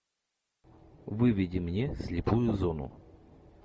выведи мне слепую зону